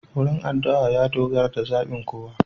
Wurin adu'a ya dogara da zabin kowa.